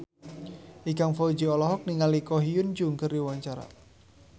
Ikang Fawzi olohok ningali Ko Hyun Jung keur diwawancara